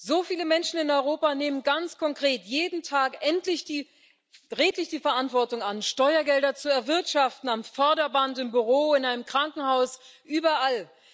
So viele Menschen in Europa nehmen ganz konkret jeden Tag redlich die Verantwortung an, Steuergelder zu erwirtschaften am Förderband, im Büro, in einem Krankenhaus, überall.